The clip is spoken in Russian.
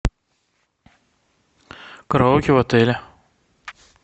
караоке в отеле